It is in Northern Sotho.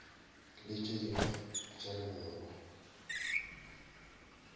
le tše dingwe tša legoro